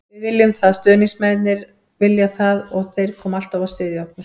Við viljum það, stuðningsmennirnir vilja það og þeir koma alltaf og styðja okkur.